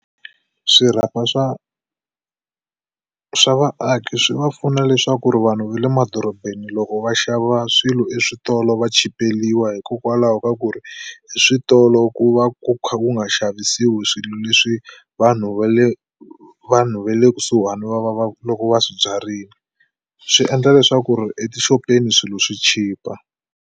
Swirhapa swa swa vaaki swi va pfuna leswaku ri vanhu va le madorobeni loko va xava swilo eswitolo va chipeliwa hikokwalaho ka ku ri eswitolo ku va ku kha ku nga xavisiwi swilo leswi vanhu va le vanhu va le kusuhani va va va ku loko va swibyarini swi endla leswaku ri etixopeni swilo swi chipa.